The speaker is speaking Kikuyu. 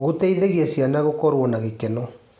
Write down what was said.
Gũteithagia ciana gũkorwo na gĩkeno.